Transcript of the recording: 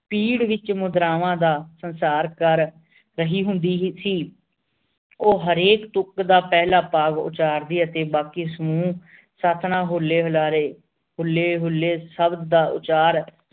ਪੀੜ ਵਿਚ ਮੁਦ੍ਰਾਵਾਂ ਦਾ ਕਰ ਰਹੀ ਹੁੰਦੀ ਸੀ ਉਹ ਹਰ ਇਕ ਤੁਕ ਦਾ ਪਹਿਲਾ ਭਾਗ ਉਚਾਰਦੀ ਅਤੇ ਬਾਕੀ ਸਮੂਹ ਸਾਥਣਾਂ ਹੁੱਲੇ ਹੁਲਾਰੇ ਹੁਲੇ ਹੂਲੇ ਸ਼ਬਦ ਦਾ ਉਚਾਰ